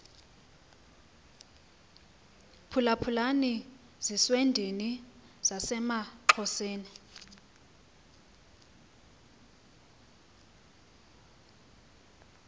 phulaphulani zizwendini zasemaxhoseni